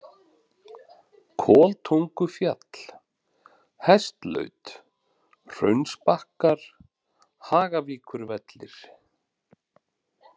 Koltungufjall, Hestlaut, Hraunsbakkar, Hagavíkurvellir